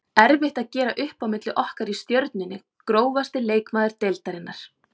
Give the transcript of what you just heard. Erfitt að gera upp á milli okkar í Stjörnunni Grófasti leikmaður deildarinnar?